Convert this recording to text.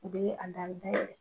U bɛ ye a in fɛ.